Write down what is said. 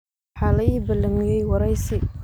Waxa la ii ballamiyay waraysi.